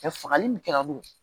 fagali min kɛra olu